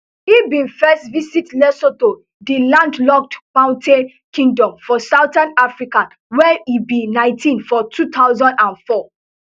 e bin first visit lesotho di landlocked mountain kingdom for southern africa wen e be nineteen for two thousand and four